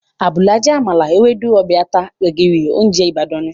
Àbùlà jẹ́ àmàlà, Ewédú, ọbẹ̀ ata, gbẹ̀gìrì, óúnjẹ Ìbàdàn ni